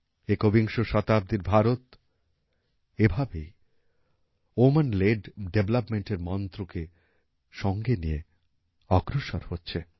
একবিংশ শতাব্দীর ভারত এভাবেই ওম্যান লেড ডেভেলপমেন্ট এর মন্ত্রকে সঙ্গে নিয়ে অগ্রসর হচ্ছে